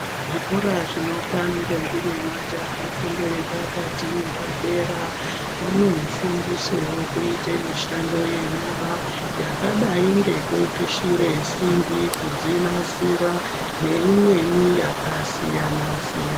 Zvikora zvinopa ndombi nemajaha fundo yepakati neyepadera vanofundiswewo kuite mishando yenyara yakadai ngekupishire simbi kudzinasira neimweni yakasiyana-siyana.